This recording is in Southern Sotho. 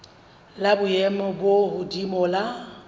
la boemo bo hodimo la